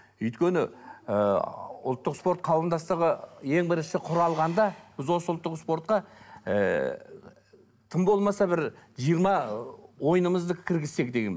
өйткені ы ұлттық спорт қауымдастығы ең бірінші құралғанда біз осы ұлттық спортқа ыыы тым болмаса бір жиырма ойынымызды кіргізсек деген